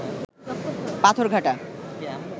Patharghata